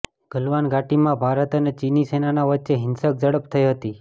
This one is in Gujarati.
ગલવાન ઘાટીમાં ભારત અને ચીની સેનાના વચ્ચે હિંસક ઝડપ થઈ હતી